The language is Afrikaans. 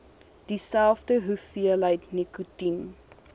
dieselfde hoeveelheid nikotien